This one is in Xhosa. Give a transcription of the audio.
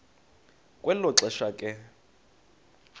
kwelo xesha ke